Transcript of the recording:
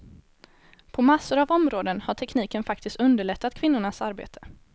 På massor av områden har tekniken faktiskt underlättat kvinnornas arbete.